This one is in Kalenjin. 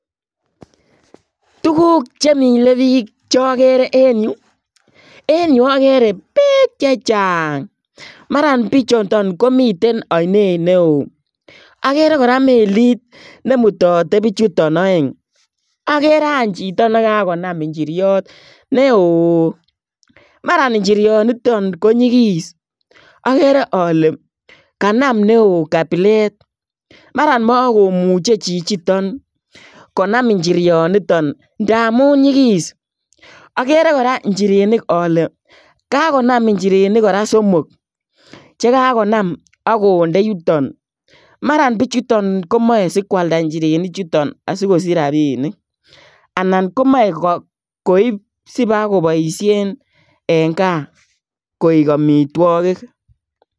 Tuguuk che milee biik cha Gere en en yu agere beek chechaang maraan bichutoon komiteen ainet ne wooh agere kora meliit neimutate bichutoon aeng agere aany chitoo nekaginam injiriet ne ooh mara injiruat nitoon ko nyigis agere ale kanam ne wooh kabileet maran makomuchei chichitoon konam injiriat nitoon ndamuun nyigis agere kora injirenik ale kagonam injerenik kora somok chekakonam agonde yutoon mara bichutoon komachei sikoalda injerenik chutoon asikosiich rapiniik anan komae koib sibakobaisheen en gaah koek amitwagiik.